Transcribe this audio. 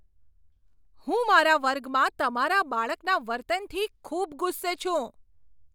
હું મારા વર્ગમાં તમારા બાળકના વર્તનથી ખૂબ ગુસ્સે છું!